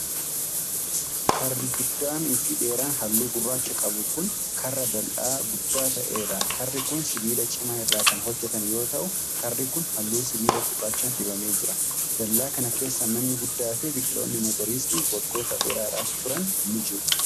Karri guddaan fi dheeraan haalluu gurraacha qabu kun, karra dal'aa guddaa ta'ee dha. Karri kun sibiila cimaa irraa kan hojjatame yoo ta'u, karri kun halluu sibiilaa gurraacha dibamee jira. Dallaa kana keessa manni guddaa fi biqiloonni magariisni waggoota dheeradhaaf turan ni jiru.